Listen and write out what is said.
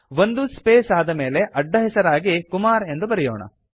ಒಂದು ಸ್ಪೇಸ್ ಆದಮೇಲೆ ಅಡ್ಡಹೆಸರಾಗಿ ಕುಮಾರ್ ಎಂದು ಬರೆಯೋಣ